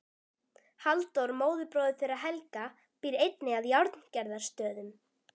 Halldór móðurbróðir þeirra Helga býr einnig að Járngerðarstöðum.